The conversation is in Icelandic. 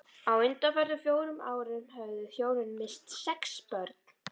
Á undanförnum fjórum árum höfðu þau hjónin misst sex börn.